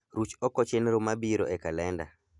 Ruch oko chenro mabiro e kalenda.